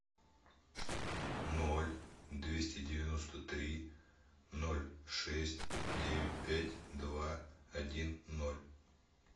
ноль двести девяносто три ноль шесть девять пять два один ноль